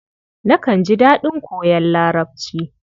Nakan ji daɗin koyon Larabci.